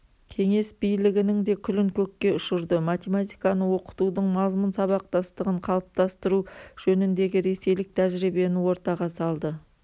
кеңес билігінің де күлін көкке ұшырды математиканы оқытудың мазмұн сабақтастығын қалыптастыру жөніндегі ресейлік тәжірибені ортаға салды